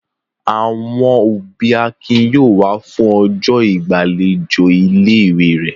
Àwọn òbí Akin yóò wá fún ọjọ́ ìgbàlejò ilé-ìwé rẹ̀.